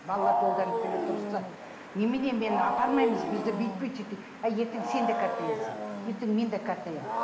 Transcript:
балалар долданып келеді ұрысады немене мен апармаймыз бізді бүйтпейді сөйтпейді әй ертең сен де қартаясың ертең мен де қартаямын